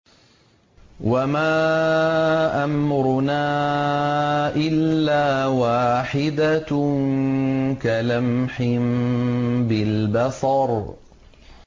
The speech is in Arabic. وَمَا أَمْرُنَا إِلَّا وَاحِدَةٌ كَلَمْحٍ بِالْبَصَرِ